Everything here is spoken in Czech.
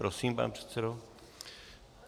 Prosím, pane předsedo.